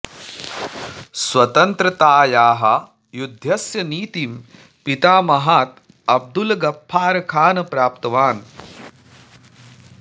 स्वतन्त्रतायाः युद्धस्य नीतिं पितामहात् अब्दुल् गफर् खान् प्राप्तवान्